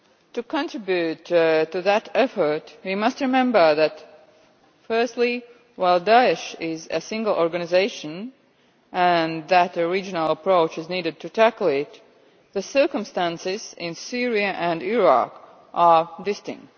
To contribute to that effort, we must remember that firstly, while Daesh is a single organisation and that a regional approach is needed to tackle it, the circumstances in Syria and Iraq are different.